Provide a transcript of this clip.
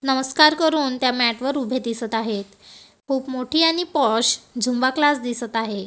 नमस्कार करून त्या मॅट वर उभे दिसत आहेत खूप मोठी आणि पॉश झुम्बा क्लास दिसत आहे.